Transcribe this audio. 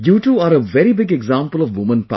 You too are a very big example of woman power